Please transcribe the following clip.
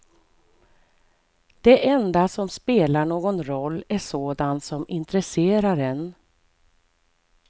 Det enda som spelar någon roll är sådant som intresserar en.